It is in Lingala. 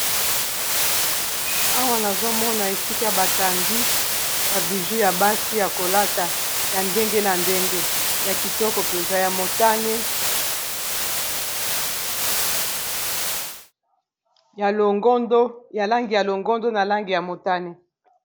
Awa nazomona esika batandi ba bijou ya basi ya kolata ya ndenge na ndenge ya kitoko mpenza ya motane ya langi ya longondo na langi ya motane.